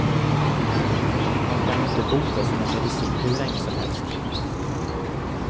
Och man kan ju inte bota sig med medicin hur länge som helst.